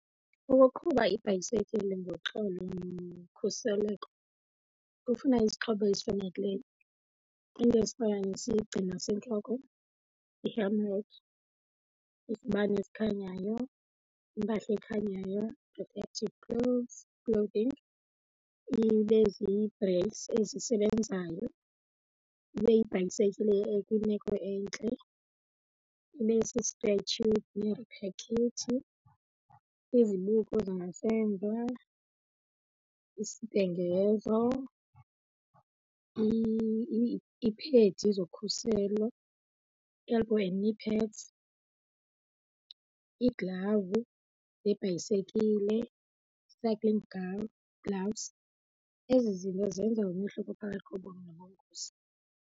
Ukuqhuba ibhayisekile ngoxolo nokhuseleko kufuna izixhobo ezifanelekileyo, iinto ezifana nesigcino sentloko i-helmet, izibane ezikhanyayo, impahla ekhanyayo, protective clothes clothing, ibe zii-brakes ezisebenzayo, ibe yibhayisekile ekwimeko entle, ibe si-spare tube izibuko zangasemva, isibhengezo, iiphedi zokhuselo elbow and knee pads, iiglavu zebhayisekile cycling gloves. Ezi zinto zenza umehluko phakathi kobomi nobungozi.